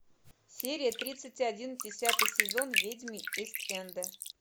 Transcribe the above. серия тридцать один десятый сезон ведьмы ист энда